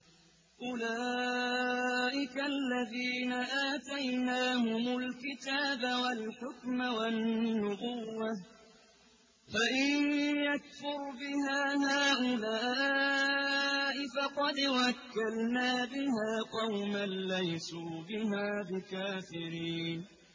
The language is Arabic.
أُولَٰئِكَ الَّذِينَ آتَيْنَاهُمُ الْكِتَابَ وَالْحُكْمَ وَالنُّبُوَّةَ ۚ فَإِن يَكْفُرْ بِهَا هَٰؤُلَاءِ فَقَدْ وَكَّلْنَا بِهَا قَوْمًا لَّيْسُوا بِهَا بِكَافِرِينَ